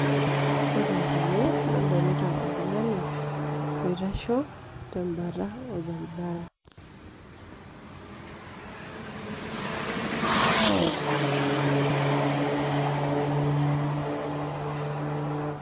wore tene nadolita oltungani oitasho tembata olbaribara